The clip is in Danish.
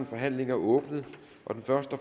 forhandlingen er åbnet den første